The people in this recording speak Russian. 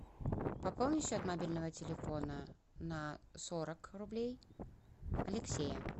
пополни счет мобильного телефона на сорок рублей алексея